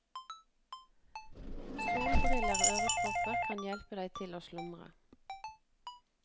Solbriller og ørepropper kan hjelpe deg til å slumre.